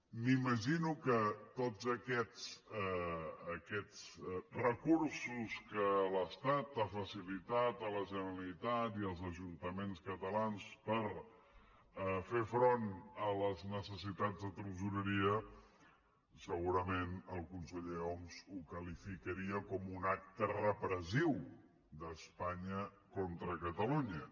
m’imagino que tots aquests recursos que l’estat ha facilitat a la generalitat i als ajuntaments catalans per fer front a les necessitats de tresoreria segurament el conseller homs ho qualificaria com un acte repressiu d’espanya contra catalunya